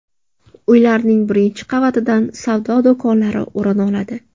Uylarning birinchi qavatidan savdo do‘konlari o‘rin oladi.